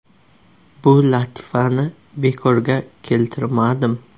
Bu latifani bekorga keltirmadim.